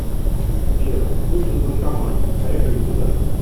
сбер нужен банкомат поехали туда